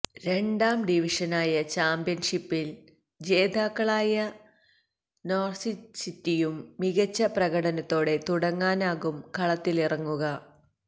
രണ്ടാം ഡിവിഷനായ ചാമ്പ്യന്ഷിപ്പില് ജേതാക്കളായ നോര്വിച്ച് സിറ്റിയും മികച്ച പ്രകടനത്തോടെ തുടങ്ങാനാകും കളത്തിലിറങ്ങുക